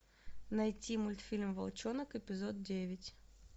найти мультфильм волчонок эпизод девять